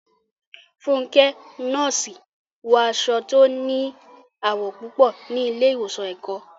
Fúnkẹ́, nọ́ọ̀sì, wọ aṣọ tí ó ní àwọ̀ púpọ̀ ní ilé ìwòsàn Èkó.